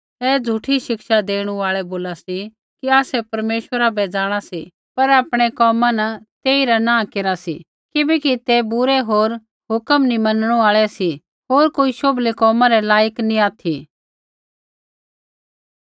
ऐ झ़ूठी शिक्षा देणु आल़ै बोला सी कि आसै परमेश्वरा बै जाँणा सी पर आपणै कोमा न तेइरा इन्कार केरा सी किबैकि ते बुरै होर हुक्म नी मनणु आल़ै सी होर कोई शोभलै कोमा रै लायक नी ऑथि